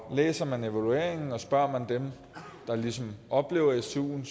læser man evalueringen og spørger dem der ligesom oplever stuen